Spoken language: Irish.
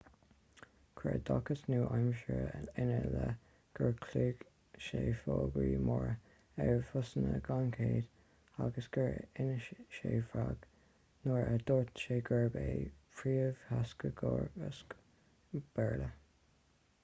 chuir oideachas nua-aimseartha ina leith gur chlóigh sé fógraí móra ar bhusanna gan chead agus gur inis sé bréag nuair a dúirt sé gurbh é an príomhtheagascóir béarla